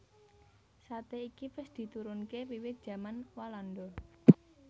Sate iki wis diturunke wiwit jaman walanda